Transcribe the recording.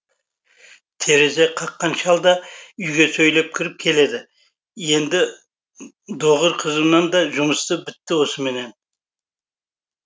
терезе қаққан шал да үйге сөйлеп кіріп келеді енді доғыр қығынан да жұмысы бітті осымен